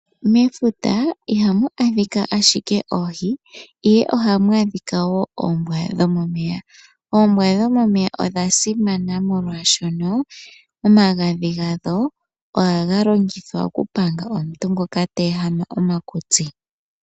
Mefuta ihamu adhika ashike oohi, ohamu adhika woo oombwa dhomomeya. Oombwa dhomomeya odha simana oshoka omagadhi hadho ohaga longithwa oku panga omakutsi gaantu ngele taga ehama.